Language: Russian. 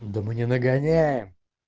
да мы не нагоняем